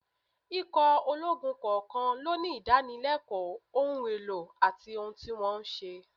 Ikọ̀ ológun kọ̀ọ̀kan ló ní ìdánilẹ́kọ̀ọ́, ohun èlò àti ohun tí wọ́n ń ṣe